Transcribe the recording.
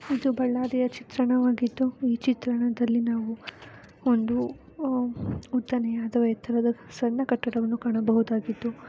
ಇದು ಬಳ್ಳಾರಿಯ ಚಿತ್ರವಾಗಿದ್ದು ಈ ಚಿತ್ರದಲ್ಲಿ ನಾವು ಒಂದು ಉದ್ದನೆಯ ಎತ್ತರದ ಸಣ್ಣ ಕಟ್ಟಡವನ್ನು ಕಾಣಬಹುದಾಗಿದ್ದು --